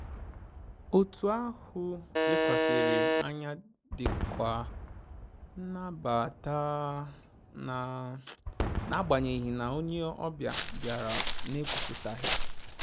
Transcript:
Otu ahụ lekwasịrị anya dịkwa nnabata na na agbanyeghị na onye ọbịa bịara na ekwuputaghị